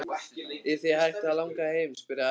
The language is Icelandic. Er þig hætt að langa heim? spurði afi stríðinn.